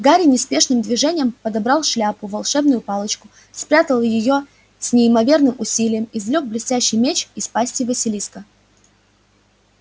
гарри неспешным движением подобрал шляпу волшебную палочку спрятал её и с неимоверным усилием извлёк блестящий меч из пасти василиска